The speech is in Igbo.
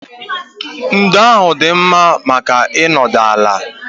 Ndo ahụ dị mma maka ịnọdụ ala